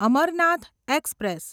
Amarnath express